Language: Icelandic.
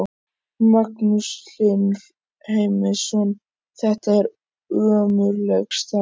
Magnús Hlynur Heimisson: Þetta er ömurleg staða?